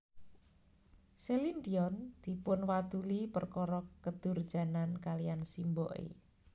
Celine Dion dipunwaduli perkara kedurjanan kaliyan simboke